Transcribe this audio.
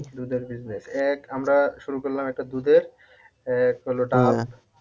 দুধের business এক আমরা শুরু করলাম একটা দুধের, এক হলো ডাব